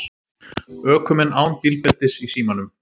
Ökumenn án bílbeltis í símanum